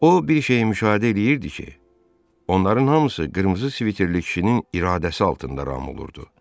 O bir şeyi müşahidə eləyirdi ki, onların hamısı qırmızı sviterli kişinin iradəsi altında ram olurdu.